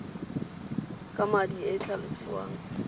ka madi e e tlhalosiwang